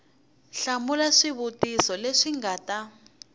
hlamula swivutiso leswi nga ta